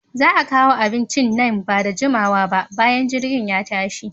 Za'a kawo abincin nan bada jimawa ba bayan jirgin ya tashi.